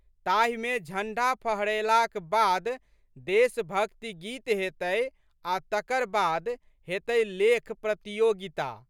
ताहिमे झंडा फहरएलाक बाद देशभक्ति गीत हेतै आ' तकर बाद हेतै लेख प्रतियोगिता।